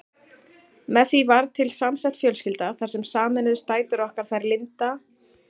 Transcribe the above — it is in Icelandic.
Með því varð til samsett fjölskylda þar sem sameinuðust dætur okkar, þær Linda, Eva og